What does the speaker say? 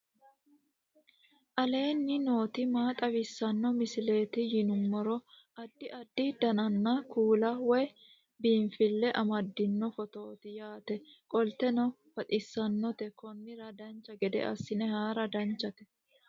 aleenni nooti maa xawisanno misileeti yinummoro addi addi dananna kuula woy biinsille amaddino footooti yaate qoltenno baxissannote konnira dancha gede assine haara danchate